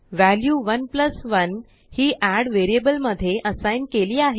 व्हेल्यु11हि addवेरिअबल मध्ये असाइग्नकेली आहे